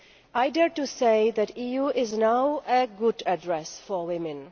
I dare to say that the EU is now a good address for women.